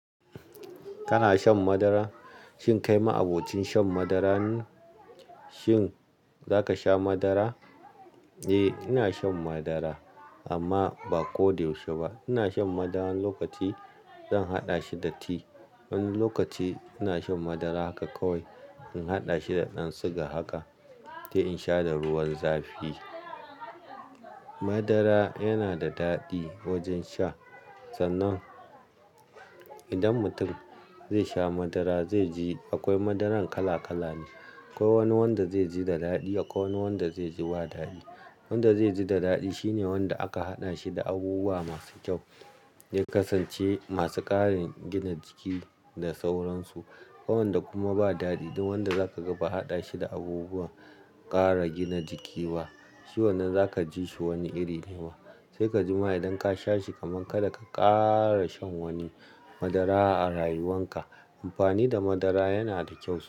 Kana shan madara? Shin kai ma abokin shan madara ne? Shin za ka sha madara? Eh, ina shan madara, amma ba ko da yaushe ba. Ina shan madara wani lokaci, zan haɗa shi da ti, wani lokaci ina shan madara haka kawai, in haɗa shi da ɗan siga haka, sai in sha da ruwan zafi. Madara yana da daɗi wajen sha sannan idan mutum zai sha madara zai ji akwai madaran kala kala ne. Akwai wani wanda zai ji da daɗi, akwai wani wanda zai ji ba daɗi. Wanda zai ji da daɗi shine wanda aka haɗa shi da abubuwa masu kyau, zai kasance masu ƙarin gina jiki da sauransu. Akwai wanda kuma ba daɗi, duk wanda zaka ga ba a haɗa shi da abubuwan ƙara gina jiki ba. Shi wannan za ka ji shi wani iri ne. Sai ka ji ma idan ka sha shi kaman ka da ka ƙara shan wani madara a rayuwan ka. Amfani da madara yana da kyau.